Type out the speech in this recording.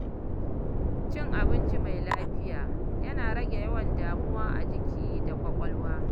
Cin abinci mai lafiya yana rage yawan damuwa a jiki da kwakwalwa.